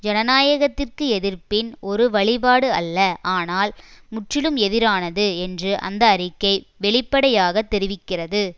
ஜனநாயகத்திற்கு எதிர்ப்பின் ஒரு வழிபாடு அல்ல ஆனால் முற்றிலும் எதிரானது என்று அந்த அறிக்கை வெளிப்படையாக தெரிவிக்கிறது